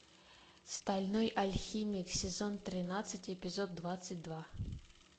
стальной алхимик сезон тринадцать эпизод двадцать два